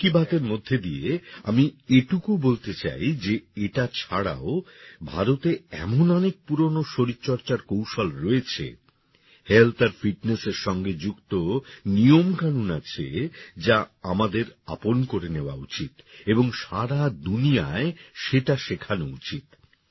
মন কি বাতের মধ্যে দিয়ে আমি এটুকু বলতে চাই যে এটা ছাড়াও ভারতে এমন অনেক পুরনো শরীর চর্চার কৌশল রয়েছে হেলথ আর ফিটনেস এর সঙ্গে যুক্ত নিয়মকানুন আছে যা আমাদের আপন করে নেয়া উচিত এবং সারা দুনিয়ায় সেটা শেখানো উচিত